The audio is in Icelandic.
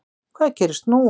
Hvað gerist nú?